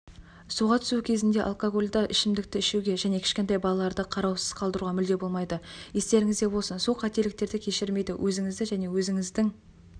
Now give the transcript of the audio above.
суға түсу кезінде алкогольді ішімдікті ішуге және кішкентай балаларды қараусыз қалдыруға мүлде болмайды естеріңізде болсын су қателіктерді кешірмейді өзіңізді және өзіңіздің